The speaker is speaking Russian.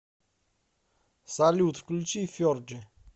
салют включи ферджи